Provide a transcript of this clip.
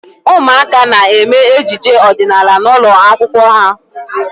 Ụmụaka na-eme ejije ọdịnaala n'ụlọ akwụkwọ ha.